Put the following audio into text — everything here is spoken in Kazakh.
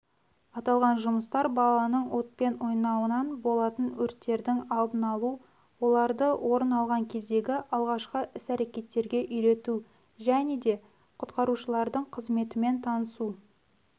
аталған жұмыс жұмыстар балалардың отпен ойнауынан болатын өрттердің алдын-алу оларды орын алған кездегі алғашқы іс-әрекеттерге үйрету және де құтқарушылардың қызметімен танысу